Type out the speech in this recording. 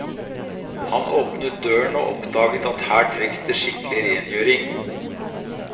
Han åpnet døren og oppdaget at her trengs det skikkelig rengjøring.